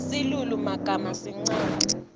silulumagama sincane